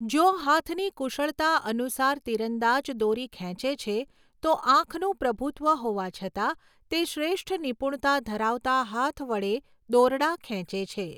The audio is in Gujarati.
જો હાથની કુશળતા અનુસાર તીરંદાજ દોરી ખેંચે છે, તો આંખનું પ્રભુત્વ હોવા છતાં તે શ્રેષ્ઠ નિપુણતા ધરાવતા હાથ વડે દોરડા ખેંચે છે.